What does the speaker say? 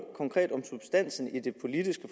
konkret om substansen i det politiske